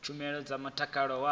na tshumelo dza mutakalo wa